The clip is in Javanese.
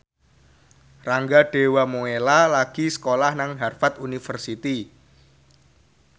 Rangga Dewamoela lagi sekolah nang Harvard university